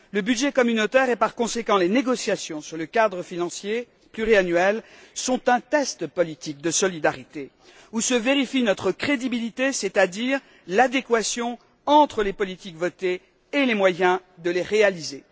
Le budget communautaire et, par conséquent, les négociations sur le cadre financier pluriannuel sont un test politique de solidarité où se vérifie notre crédibilité, c'est à dire l'adéquation entre les politiques adoptées et les moyens de les réaliser.